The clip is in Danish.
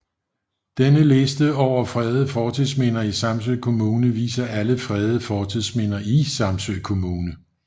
Denne liste over fredede fortidsminder i Samsø Kommune viser alle fredede fortidsminder i Samsø Kommune